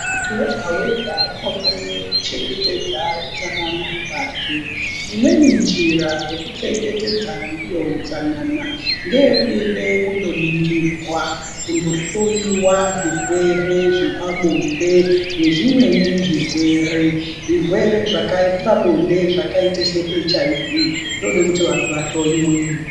Muntu wega wega unofanire kuchengetedza utsanana hwake, imweni njira yekuchengetedza ndiyo utsanana ngeyekuende kundoningirwa kundohloyiwa zvirwere zvepabonde nezvimweni zvirwere, zvirwere zvepabonde zvakaite seHIV zvinode kuti vantu vahloyiwe.